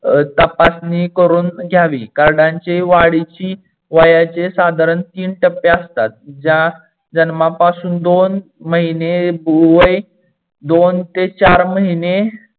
तपासणी करून घ्यावी. कार्डानची वाढीची वयाचे साधारण तीन टप्पे असतात. ज्या जन्मापासून दोन महीने वय दोन ते चार महीने